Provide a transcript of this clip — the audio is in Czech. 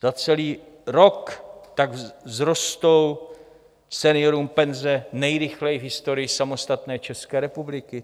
Za celý rok tak vzrostou seniorům penze nejrychleji v historii samostatné České republiky.